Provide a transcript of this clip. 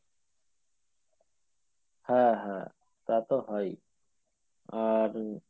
হ্যাঁ হ্যাঁ তা তো হয়ই আর